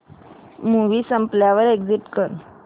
movie संपल्यावर exit कर